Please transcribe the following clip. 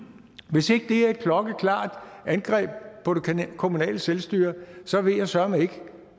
hvis ikke det er et klokkeklart angreb på det kommunale selvstyre så ved jeg søreme ikke